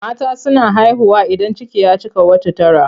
Mata suna haihuwa idan ciki ya cika wata tara.